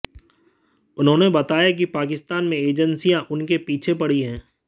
उन्होंने बताया कि पाकिस्तान में एजेंसियां उनके पीछे पड़ी हैं